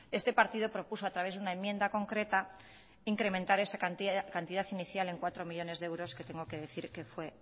este partido propuso a través de una enmienda concreta incrementar esa cantidad inicial en cuatro millónes de euros que tengo que decir que fue